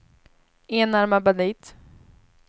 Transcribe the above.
enarmad bandit